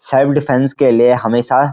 self defence के लिए हमेशा --